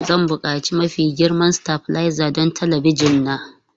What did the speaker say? Zan buƙaci mafi girma stabilizer don talabijin na.